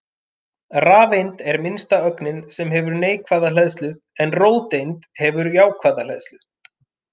Rafeind er minnsta ögnin sem hefur neikvæða hleðslu en róteind hefur jákvæða hleðslu.